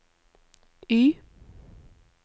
Y